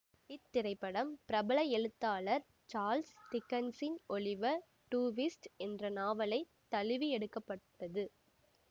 இத்திரைப்படம் பிரபல எழுத்தாளர் சாள்ஸ் டிக்கென்சின் ஒலிவர் டுவிஸ்ட் என்ற நாவலைத் தழுவி எடுக்க பட்டது